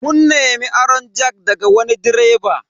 Mun nemi aron jack daga wani direba.